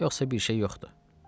Yoxsa bir şey yoxdur.